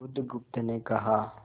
बुधगुप्त ने कहा